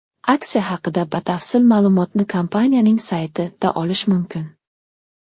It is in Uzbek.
Aksiya haqida batafsil ma’lumotni kompaniyaning sayti ’da olish mumkin.